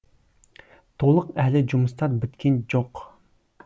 толық әлі жұмыстар біткен жоқ